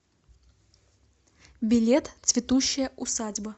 билет цветущая усадьба